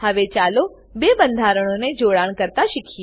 હવે ચાલો બે બંધારણોને જોડાણ કરતા શીખીએ